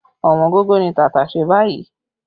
Ọ̀wọ́ngógó ni tàtàṣé báyìí